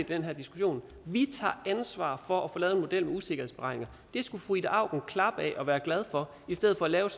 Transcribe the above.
den her diskussion vi tager ansvar for at få lavet en model med usikkerhedsberegninger det skulle fru ida auken klappe af og være glad for i stedet for at lave